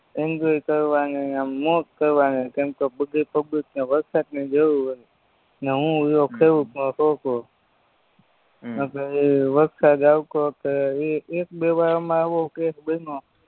enjoy કરવાની આમ મોજ કરવાની કેમ કે બધી પબ્લીકને વરસાદની જરૂર હોયન ને હું રયો ખેડૂતનો છોકરો હમ એક બે વરહમાં એવો કેસ બયનો